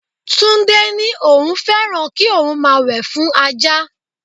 Tunde ní òun féràn kí òun máa wẹ̀ fún Ajá.